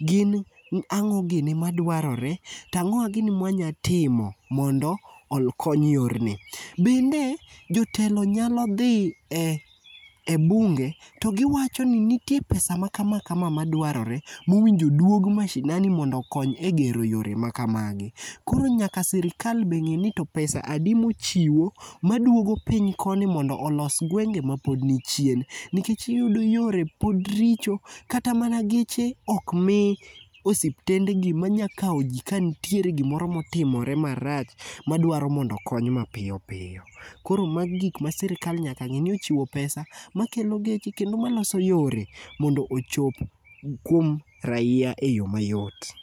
gin ang'o gini maduarore to ang'owa gini ma wanyalo timo mondo okony yorni. Bende jotelo nyalo dhi e bunge togiwacho ni nitie pesa maka kama madwarore mowinjo duog masinani mondo okony egero yore makamagi koro nyaka sirkal bende nyaka ng'eni ni to pesa adi mochiwo maduogo piny koni mondo olos gwenge mapod nichien nikech iyudo yore pod richo kata mana geche ok mi osiptendegi manyalo kawo ji kanitiere gimoro motimore marach madwaro mondo okony mapiyo piyo. Koro ma gik ma sirkal nyaka ng'i ni okelo pesa maloso yore machopo kuom raia eyo mayot.